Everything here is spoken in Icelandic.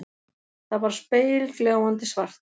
Það var spegilgljáandi svart.